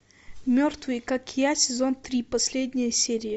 мертвые как я сезон три последняя серия